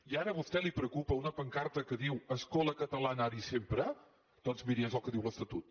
i ara a vostè li preocupa una pancarta que diu escola catalana ara i sempre doncs miri és el que diu l’estatut